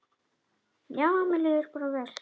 Já, mér líður bara vel.